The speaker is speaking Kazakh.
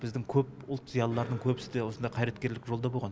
біздің көп ұтл зиялыларының көбісі де осындай қайраткерлік жолда болған